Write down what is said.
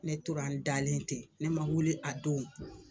Ne tora an dalen ten, ne ma wili a don.